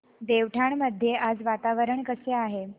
देवठाण मध्ये आज वातावरण कसे आहे